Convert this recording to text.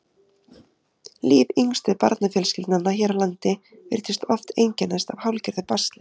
líf yngstu barnafjölskyldnanna hér á landi virtist oft einkennast af hálfgerðu basli